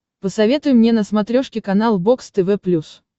посоветуй мне на смотрешке канал бокс тв плюс